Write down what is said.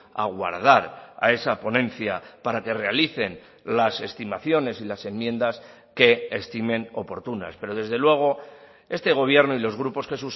aguardar a esa ponencia para que realicen las estimaciones y las enmiendas que estimen oportunas pero desde luego este gobierno y los grupos que